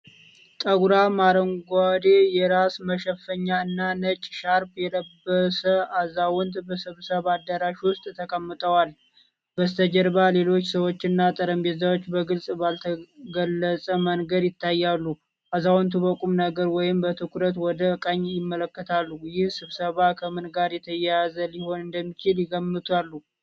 ጠጉራም አረንጓዴ የራስ መሸፈኛ እና ነጭ ሻርፕ የለበሰ አዛውንት በስብሰባ አዳራሽ ውስጥ ተቀምጠዋል። በስተጀርባ ሌሎች ሰዎች እና ጠረጴዛዎች በግልጽ ባልተገለጸ መንገድ ይታያሉ። አዛውንቱ በቁም ነገር ወይም በትኩረት ወደ ቀኝ ይመለከታሉ። ይህ ስብሰባ ከምን ጋር የተያያዘ ሊሆን እንደሚችል ይገምታሉ?